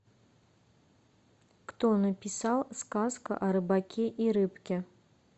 кто написал сказка о рыбаке и рыбке